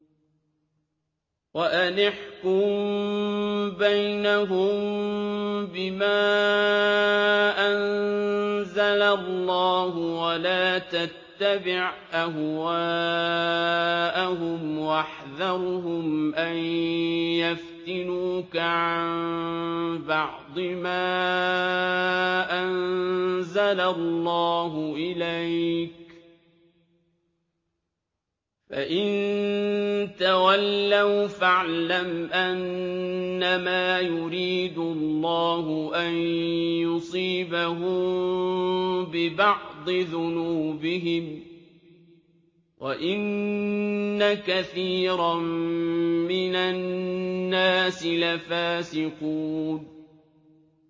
وَأَنِ احْكُم بَيْنَهُم بِمَا أَنزَلَ اللَّهُ وَلَا تَتَّبِعْ أَهْوَاءَهُمْ وَاحْذَرْهُمْ أَن يَفْتِنُوكَ عَن بَعْضِ مَا أَنزَلَ اللَّهُ إِلَيْكَ ۖ فَإِن تَوَلَّوْا فَاعْلَمْ أَنَّمَا يُرِيدُ اللَّهُ أَن يُصِيبَهُم بِبَعْضِ ذُنُوبِهِمْ ۗ وَإِنَّ كَثِيرًا مِّنَ النَّاسِ لَفَاسِقُونَ